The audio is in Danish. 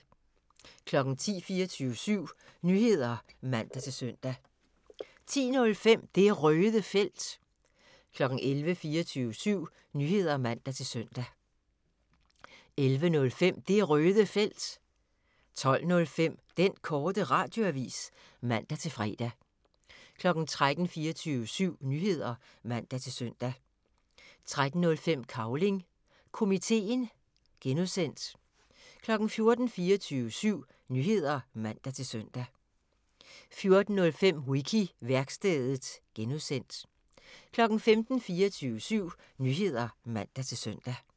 10:00: 24syv Nyheder (man-søn) 10:05: Det Røde Felt 11:00: 24syv Nyheder (man-søn) 11:05: Det Røde Felt 12:05: Den Korte Radioavis (man-fre) 13:00: 24syv Nyheder (man-søn) 13:05: Cavling Komiteen (G) 14:00: 24syv Nyheder (man-søn) 14:05: Wiki-værkstedet (G) 15:00: 24syv Nyheder (man-søn)